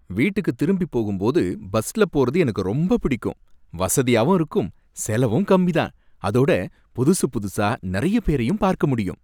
வீட்டுக்கு திரும்பிப் போகும்போது பஸ்ல போறது எனக்கு ரொம்ப பிடிக்கும். வசதியாவும் இருக்கும், செலவும் கம்மி தான், அதோட புதுசு புதுசா நறைய பேரையும் பார்க்க முடியும்.